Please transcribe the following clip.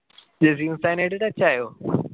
ജസീൽ ഉസ്താദിനായിട്ട് ആയിട്ട് touch ആയോ